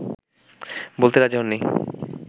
বলতে রাজি হননি